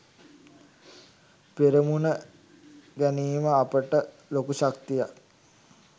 පෙරමුණ ගැනීම අපට ලොකු ශක්තියක්.